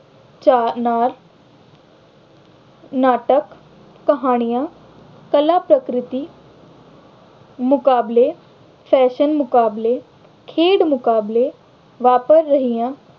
ਚਾਅ ਨਾਲ ਨਾਟਕ, ਕਹਾਣੀਆਂ, ਕਲਾਪ੍ਰਕ੍ਰਿਤੀ ਮੁਕਾਬਲੇ, fashion ਮੁਕਾਬਲੇ, ਖੇਡ ਮੁਕਾਬਲੇ ਵਾਪਰ ਰਹੀਆਂ